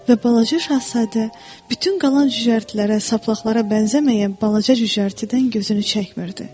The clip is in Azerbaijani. Və Balaca Şahzadə bütün qalan cücərtilərə, saplaqlara bənzəməyən balaca cücərtidən gözünü çəkmirdi.